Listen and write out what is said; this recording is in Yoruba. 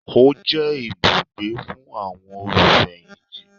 Ó jẹ́ ibùgbé fún àwọn olùfẹ̀yìntì